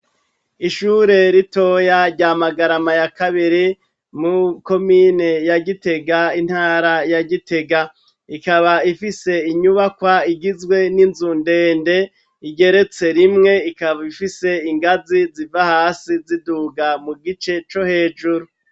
Ishure ritoya rya Magarama ya kabiri mu komine ya Gitega, intara ya Gitega, ikaba ifise inyubakwa igizwe n'inzu ndende, igeretse rimwe, ikaba ifise ingazi ziva hasi ziduga mu gice co hejuru.